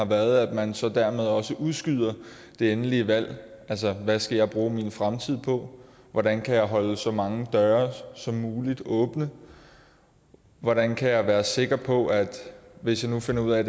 været at man så dermed også udskyder det endelige valg altså hvad skal jeg bruge min fremtid på hvordan kan jeg holde så mange døre som muligt åbne hvordan kan jeg være sikker på at hvis jeg nu finder ud af